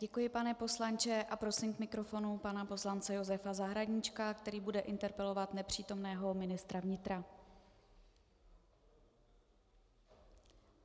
Děkuji, pane poslanče, a prosím k mikrofonu pana poslance Josefa Zahradníčka, který bude interpelovat nepřítomného ministra vnitra.